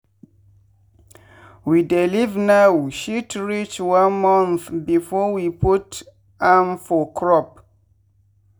we dey leave now shit reach 1month before we put am for crop.